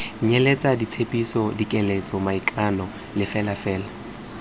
nyeletse ditshepiso dikeletso maikano lefelafela